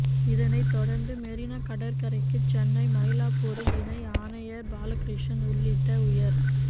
இதனைத் தொடர்ந்து மெரினா கடற்கரைக்குச் சென்னை மயிலாப்பூர் இணை ஆணையர் பாலகிருஷ்ணன் உள்ளிட்ட உயர்